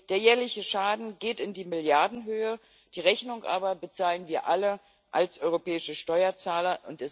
Der jährliche Schaden geht in die Milliarden, die Rechnung aber bezahlen wir alle als europäische Steuerzahler.